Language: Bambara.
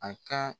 A ka